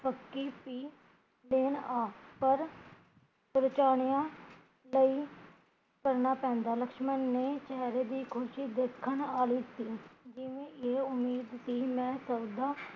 ਸੀ ਦਿਨ ਆ ਪਰ ਪਰਚੂਣਿਆ ਲਈ ਕਰਨਾ ਪੈਂਦਾ ਲਕਸ਼ਮਣ ਦੇ ਚੇਹਰੇ ਦੀ ਖੁਸ਼ੀ ਦੇਖਣ ਆਲੀਸੀ ਜਿਵੇ ਇਹ ਉਮੀਦ ਕੀ ਮੈਂ ਸਭਦਾ